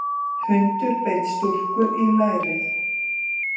Hundur beit stúlku í lærið